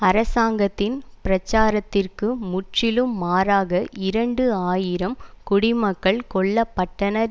அரசாங்கத்தின் பிரச்சாரத்திற்கு முற்றிலும் மாறாக இரண்டு ஆயிரம் குடிமக்கள் கொல்லபட்டனர்